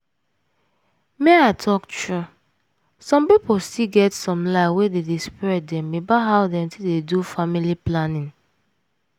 make i talk true some pipo still get some lie wey dey spread dem about how dem take dey do family planning.